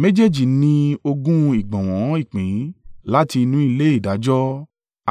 Méjèèjì ní ogún ìgbọ̀nwọ́ ìpín láti inú ilé ìdájọ́